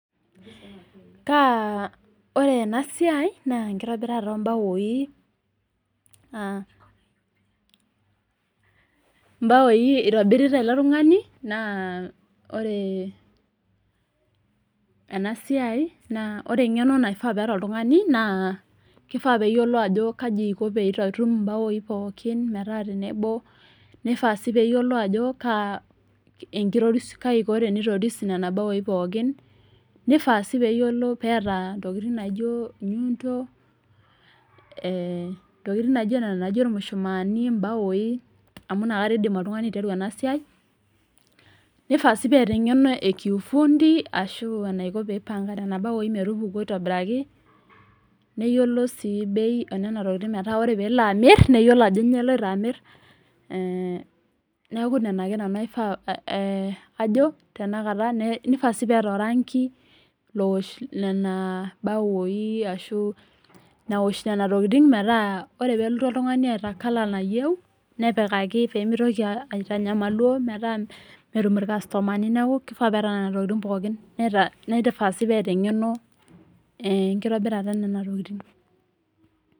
Ore enasiai naa enkitobirata ombaoi , ombaoi itubirita ele tungani naa ore engeno naifaa peeta oltungani naa kifaa peyiolo ajo kai iko peyie itum imbaoi pookin , nifaa si peyiolo ajo kai iko pitoris nena baoi pookin , nifaa sii peeta ntokitin naijo enyundo , irmushumani ,imbaoi ,amu inakata etumoki oltungani aiteru enasiai, nifaa sii peeta engeno ekiufundi ashu enaiko peipoanga nena baoi metupuku aitobiraki , neyiolo si bei enena tokitin metaa ore peyie elo amir neyiolo ajo nyoo eloito amir ,nifaa sii peeta oranki , naosh nena baoi metaa ore pelotu oltungani eeta colour nayieu , nepikaki pemitoki aitanyamaluo petum irkastomani , nifaa sii peeta engeno enkitobirata enena tokitin.